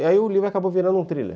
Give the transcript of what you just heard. E aí o livro acabou virando um thriller.